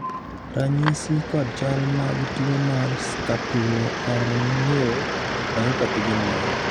ranyisi kod chal mag tuo mar scapuloperoneal myopathy gin mage?